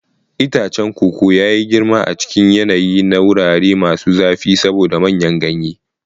Itacen koko ya yi girma a cikin yanayi na wurare masu zafi saboda manyan ganye.